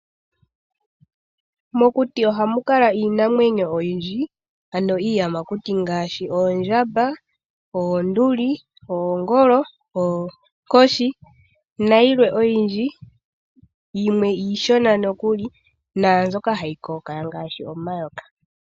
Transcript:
Mokuti ohamu kala iinamwenyo oyindji. Ano iiyamakuti ngaashi oondjamba, oonduli, oongolo, oonkoshi, nayilwe. Yimwe iishona nookuli, naambyoka hayi kokaya, ngaashi omayoka.